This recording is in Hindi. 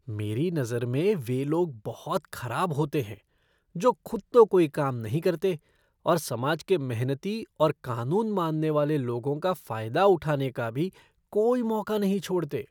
मेरी नज़र में वे लोग बहुत खराब होते हैं जो खुद तो कोई काम नहीं करते और समाज के मेहनती और कानून मानने वाले लोगों का फायदा उठाने का भी कोई मौका नहीं छोड़ते।